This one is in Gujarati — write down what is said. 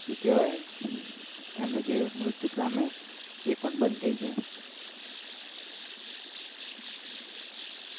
શું કેહવા જે મૃત્ય પામે એ પણ બંધ જાય